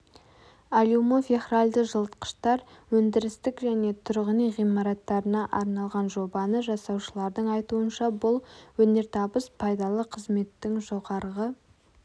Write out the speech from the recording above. алюмофехральді жылытқыштар өндірістік және тұрғын үй ғимараттарына арналған жобаны жасаушылардың айтуынша бұл өнертабыс пайдалы қызметтің жоғарғы